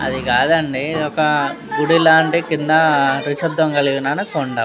అది కాదండీ ఇధోకా గుడి లాంటి కింద నిశ్శబ్దం లేదనుకోండ --